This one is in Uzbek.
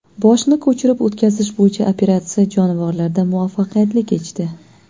Boshni ko‘chirib o‘tkazish bo‘yicha operatsiya jonivorlarda muvaffaqiyatli kechdi.